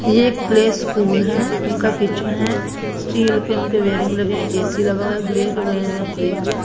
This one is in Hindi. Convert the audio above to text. ये एक प्लेस्कूल है उनका किचन है स्टील के उनके वेरिंग लगे है ए_सी लगा हुआ है ग्रीन कलर का फ्रिज है।